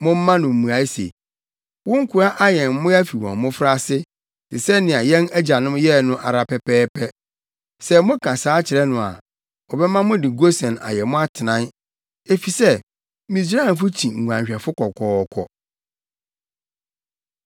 momma no mmuae se, ‘Wo nkoa ayɛn mmoa fi wɔn mmofraase, te sɛ nea yɛn agyanom yɛe no ara pɛpɛɛpɛ.’ Sɛ moka saa kyerɛ no a, ɔbɛma mode Gosen ayɛ mo atenae, efisɛ Misraimfo kyi nguanhwɛfo kɔkɔɔkɔ.”